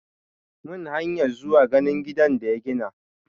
Mun hanya zuwa ganin gidan da ya gina.